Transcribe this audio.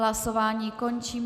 Hlasování končím.